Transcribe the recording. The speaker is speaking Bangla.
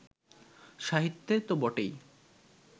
সাহিত্যে তো বটেই